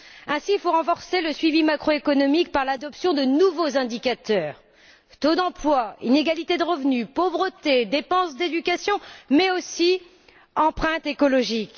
Ainsi, il faut renforcer le suivi macroéconomique en adoptant de nouveaux indicateurs taux d'emploi, inégalités de revenus, pauvreté, dépenses d'éducation, mais aussi empreinte écologique.